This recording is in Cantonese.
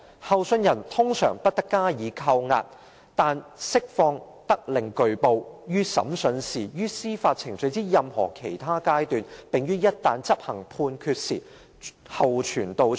候訊人通常不得加以羈押，但釋放得令具報，於審訊時、於司法程序之任何其他階段、並於一旦執行判決時，候傳到場。